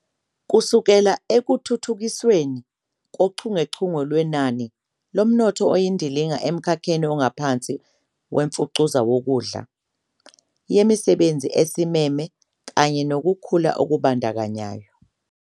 kusekela Ekuthuthukisweni Kochungechunge Lwenani Lomnotho Oyindilinga Emkhakheni Ongaphansi Wemfucuza Wokudla Yemisebenzi Esimeme kanye Nokukhula Okubandakanyayo